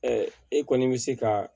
e kɔni bɛ se ka